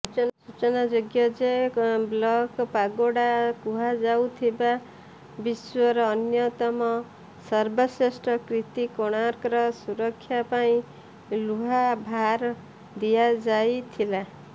ସୂଚନାଯୋଗ୍ୟ ଯେ ବ୍ଲାକପାଗୋଡ଼ା କୁହାଯାଉଥିବା ବିଶ୍ୱର ଅନ୍ୟତମ ସର୍ବ ଶ୍ରେଷ୍ଠ କୀର୍ତ୍ତି କୋଣାର୍କର ସୁରକ୍ଷା ପାଇଁ ଲୁହାଭାର ଦିଆଯାଇଥିଲା